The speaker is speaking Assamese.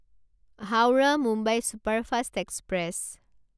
Howrah Mumbai superfast express